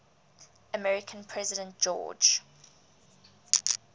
american president george